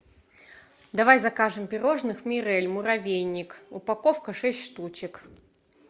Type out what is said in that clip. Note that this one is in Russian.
давай закажем пирожных мирель муравейник упаковка шесть штучек